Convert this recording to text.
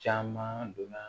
Caman donna